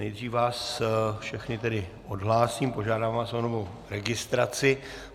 Nejdřív vás všechny tedy odhlásím, požádám vás o novou registraci.